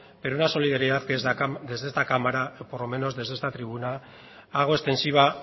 pero una solidaridad que desde esta cámara o por lo menos desde esta tribuna hago extensiva